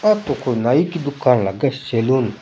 आ तो कोई नाई की दुकान लागे सैलून ।